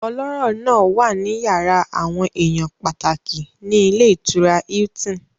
Ọlọ́rọ̀ náà wà ní yàrá àwọn èèyàn pàtàkì ní ilé ìtura Hilton